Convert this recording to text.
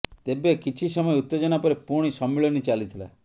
ତେବେ କିଛି ସମୟ ଉତ୍ତେଜନା ପରେ ପୁଣି ସମ୍ମିଳନୀ ଚାଲିଥିଲା